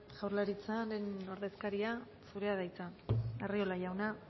jaurlaritzaren ordezkaria zurea da hitza arriola jauna